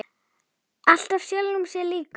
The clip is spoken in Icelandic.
Alltaf sjálfum sér líkur.